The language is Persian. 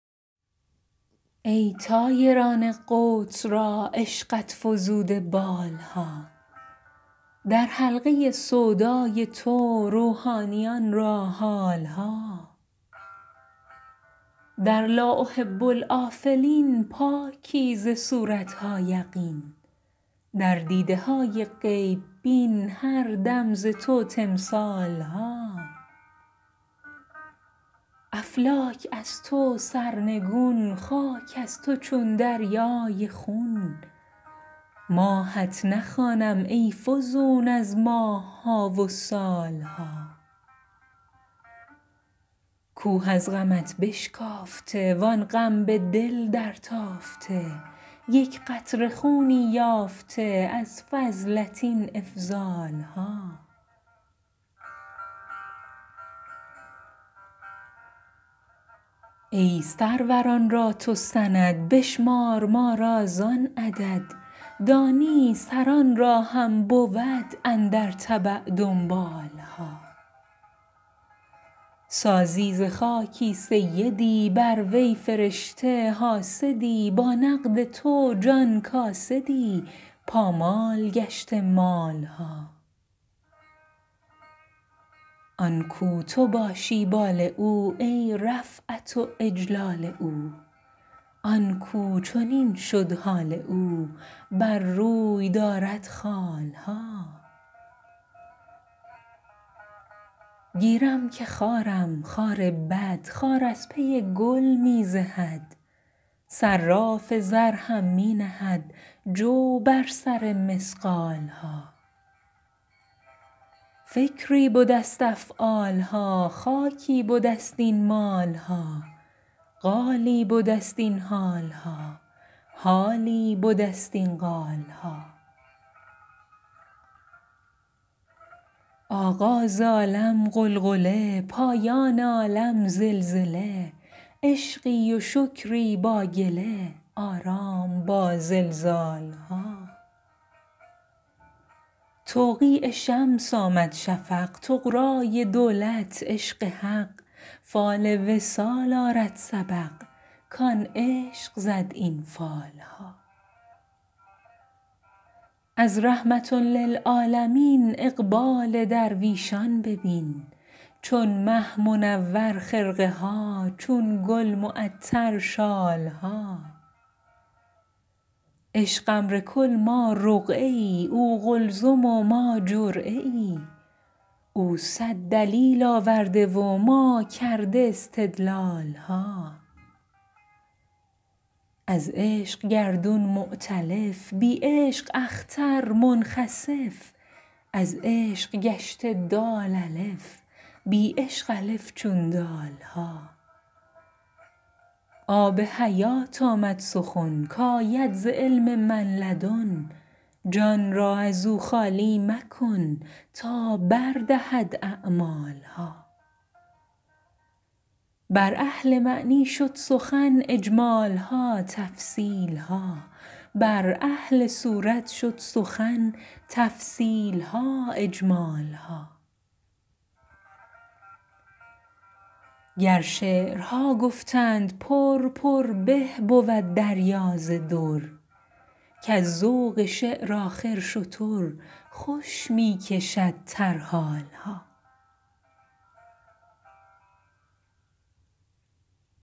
ای طایران قدس را عشقت فزوده بال ها در حلقه سودای تو روحانیان را حال ها در لا احب الآفلین پاکی ز صورت ها یقین در دیده های غیب بین هر دم ز تو تمثال ها افلاک از تو سرنگون خاک از تو چون دریای خون ماهت نخوانم ای فزون از ماه ها و سال ها کوه از غمت بشکافته وان غم به دل درتافته یک قطره خونی یافته از فضلت این افضال ها ای سروران را تو سند بشمار ما را زان عدد دانی سران را هم بود اندر تبع دنبال ها سازی ز خاکی سیدی بر وی فرشته حاسدی با نقد تو جان کاسدی پامال گشته مال ها آن کاو تو باشی بال او ای رفعت و اجلال او آن کاو چنین شد حال او بر روی دارد خال ها گیرم که خارم خار بد خار از پی گل می زهد صراف زر هم می نهد جو بر سر مثقال ها فکری بده ست افعال ها خاکی بده ست این مال ها قالی بده ست این حال ها حالی بده ست این قال ها آغاز عالم غلغله پایان عالم زلزله عشقی و شکری با گله آرام با زلزال ها توقیع شمس آمد شفق طغرای دولت عشق حق فال وصال آرد سبق کان عشق زد این فال ها از رحمة للعالمین اقبال درویشان ببین چون مه منور خرقه ها چون گل معطر شال ها عشق امر کل ما رقعه ای او قلزم و ما جرعه ای او صد دلیل آورده و ما کرده استدلال ها از عشق گردون مؤتلف بی عشق اختر منخسف از عشق گشته دال الف بی عشق الف چون دال ها آب حیات آمد سخن کاید ز علم من لدن جان را از او خالی مکن تا بر دهد اعمال ها بر اهل معنی شد سخن اجمال ها تفصیل ها بر اهل صورت شد سخن تفصیل ها اجمال ها گر شعرها گفتند پر پر به بود دریا ز در کز ذوق شعر آخر شتر خوش می کشد ترحال ها